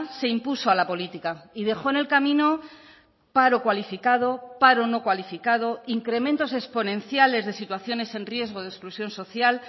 se impuso a la política y dejó en el camino paro cualificado paro no cualificado incrementos exponenciales de situaciones en riesgo de exclusión social